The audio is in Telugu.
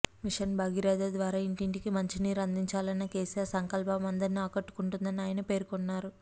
మిషన్ భగీరథ ద్వారా ఇంటింటికి మంచినీరు అందించాలన్న కెసిఆర్ సంకల్పం అందరినీ ఆకట్టుకుంటుందని ఆయన పేర్కొన్నారు